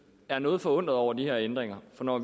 er noget forundret over de her ændringer for når